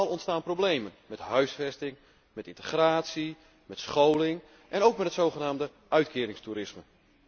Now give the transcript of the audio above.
Overal ontstaan problemen met huisvesting, met integratie, met scholing, en ook met het zogenaamde uitkeringstoerisme.